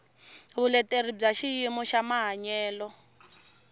vuleteri bya xiyimo xa mahanyelo